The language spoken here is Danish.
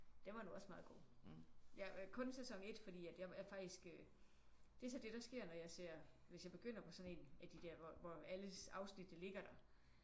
Den var nu også meget god. Ja og kun sæson 1 fordi at jeg er faktisk øh det er så det der sker når jeg ser hvis jeg begynder på sådan en af de der hvor hvor alle afsnittene ligger der